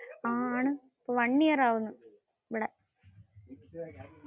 ആഹ് ആണ്. one year ആവുന്നു ഇവിടെ.